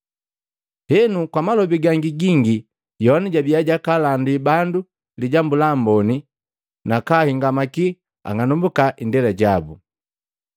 Henu, kwa malobi gangi gingi Yohana jabia jakaalandila bandu Lijambu la Amboni nakahingamaki ang'anambua indela yabu.